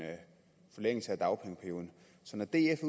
forlængelse af dagpengeperioden så når df